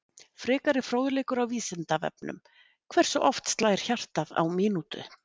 Frekari fróðleikur á Vísindavefnum: Hversu oft slær hjartað á mínútu?